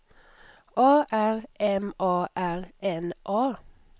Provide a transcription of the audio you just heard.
A R M A R N A